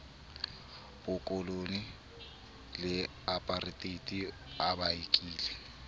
bokolone le apareteite a bakile